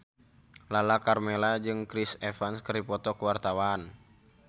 Lala Karmela jeung Chris Evans keur dipoto ku wartawan